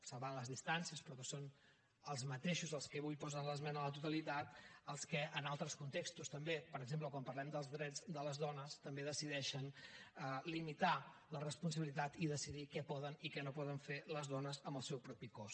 salvant les distàncies però que són els mateixos els que avui posen l’esmena a la totalitat els que en altres contextos també per exemple quan parlem dels drets de les dones també decideixen limitar la responsabilitat i decidir què poden i què no poden fer les dones amb el seu propi cos